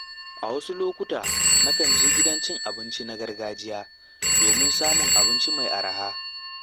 A wasu lokuta na kan je gidan abinci na gargajiya domin samun abinci mai araha.